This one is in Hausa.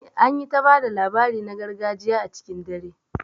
An yi ta ba da labari na gargajiya a cikin dare